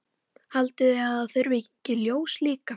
Haldið þið að það þurfi ekki ljós líka?